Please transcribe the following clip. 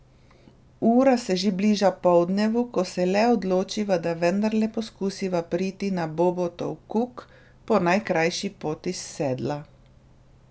Ura se že bliža poldnevu, ko se le odločiva, da vendarle poskusiva priti na Bobotov kuk po najkrajši poti s Sedla.